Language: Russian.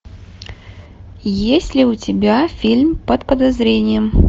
есть ли у тебя фильм под подозрением